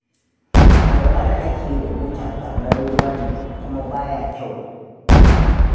Alwala da ake yi da buta ɓarnar ruwa ne, kuma ba kyau.